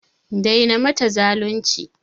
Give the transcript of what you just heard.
Daina mata zalunci!